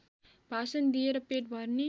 भाषण दिएर पेट भर्ने